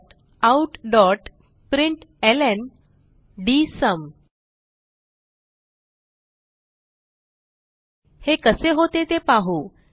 systemoutप्रिंटलं हे कसे होते ते पाहू